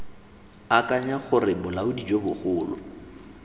akanya gore bolaodi jo bogolo